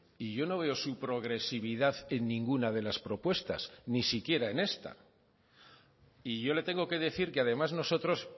y yo no veo su progresividad en ninguna de las propuestas ni siquiera en esta y yo le tengo que decir que además nosotros